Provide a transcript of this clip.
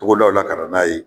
Togodaw la ka n'a ye